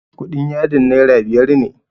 kudin yadin naira biyar ne